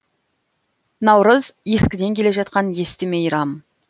наурыз ескіден келе жатқан есті мейрам